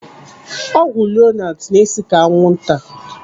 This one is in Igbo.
Ọgwụ Lonart na-esi ka anwụnta.